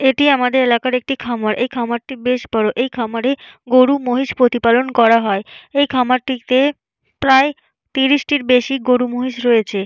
এটি আমাদের এলাকার একটি খামার এই খামারটি বেশ বড় এই খামারে গরু মহিষ প্রতিপালন করা হয় এই খামারটিতে প্রায় তিরিশ টির বেশি গরু মহিষ রয়েছে।